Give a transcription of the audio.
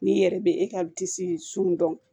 N'i yɛrɛ bɛ e ka disi sun dɔn